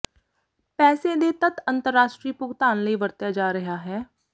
ਪੈਸੇ ਦੇ ਤੱਤ ਅੰਤਰਰਾਸ਼ਟਰੀ ਭੁਗਤਾਨ ਲਈ ਵਰਤਿਆ ਜਾ ਰਿਹਾ ਹੈ